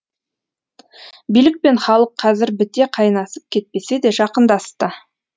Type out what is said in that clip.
билік пен халық қазір біте қайнасып кетпесе де жақындасты